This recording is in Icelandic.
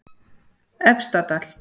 Efstadal